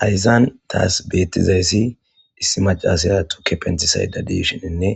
Hayzan taas bettizayssi dissi macasaya tuke pentisayda diishininne